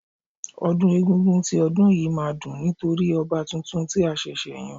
Ọdún egúngún ti ọdún yìí má a dùn nítorí ọba tuntun tí a ṣẹ̀ṣẹ̀ yán